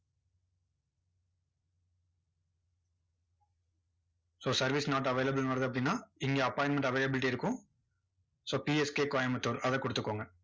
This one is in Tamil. so service not available ன்னு வருது அப்படின்னா, இங்க appointment avaliablity இருக்கும். so PSK Coimbatore. அதை கொடுத்துகோங்க.